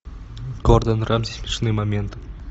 гордон рамси смешные моменты